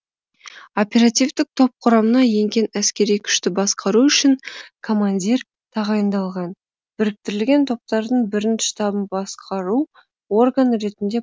оперативтік топ құрамына енген әскери күшті басқару үшін командир тағайындалған біріктірілген топтардың бірінші штабын басқару органы ретінде